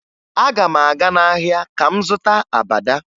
Aga m aga n'ahịa ka m zụta abada